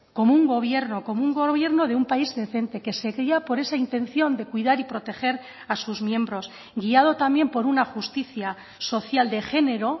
como un gobierno como un gobierno de un país decente que se guía por esa intención de cuidar y proteger a sus miembros guiado también por una justicia social de género